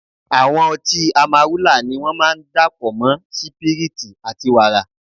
Àwọn ọtí Amarúlà ni wón máa ń dà pọ̀ mọ́ sípírítì àti wàrà.